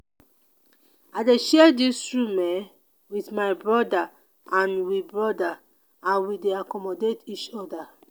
i dey share dis room um wit my broda and we broda and we dey accommodate each oda.